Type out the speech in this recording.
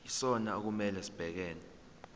yisona okumele sibhekane